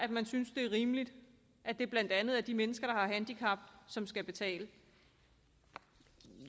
rimeligt at det blandt andet er de mennesker der har handicap som skal betale